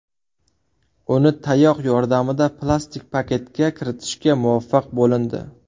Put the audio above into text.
Uni tayoq yordamida plastik paketga kiritishga muvaffaq bo‘lindi.